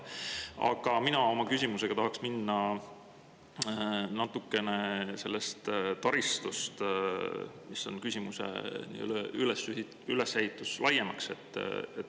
Aga minu küsimus on natukene laiem kui vaid see taristu, millele küsija oma teema üles ehitas.